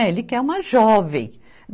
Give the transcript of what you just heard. É Ele quer uma jovem.